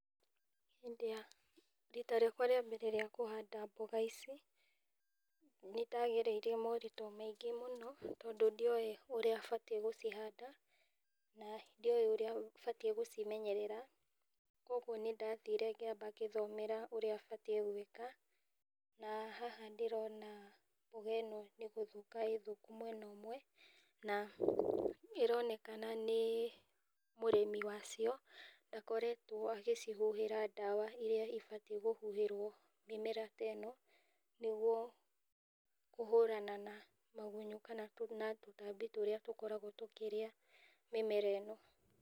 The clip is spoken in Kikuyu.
Rita rĩakwa rĩa mbere rĩa kũhanda mboga ici, nĩndagereire moritũ maingĩ mũno, tondũ ndiowĩ ũrĩa batiĩ gũcihanda, na ndiowĩ ũrĩa batiĩ gũcimenyerera, koguo nĩndathiire ngĩamba ngĩthomera ũrĩa batiĩ gwĩka, na haha ndĩrona mboga ĩno nĩ gũthũka ĩ thũka mwena ũmwe, na ĩronekana nĩ mũrĩmi wacio ndakoretwo agĩcihuhĩra ndawa iria ibatiĩ kũhuhĩrwo mĩmera te no, nĩguo kũhũrana na magunyũ kana tũtambi tũrĩa tũkoragwo tũkĩrĩa mĩmera ĩno.